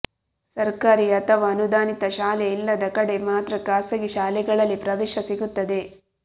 ಸರ್ಕಾರಿ ಅಥವಾ ಅನುದಾನಿತ ಶಾಲೆ ಇಲ್ಲದ ಕಡೆ ಮಾತ್ರ ಖಾಸಗಿ ಶಾಲೆಗಳಲ್ಲಿ ಪ್ರವೇಶ ಸಿಗುತ್ತದೆ